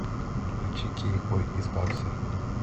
включи кейкбой избавься